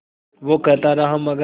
वो कहता रहा मगर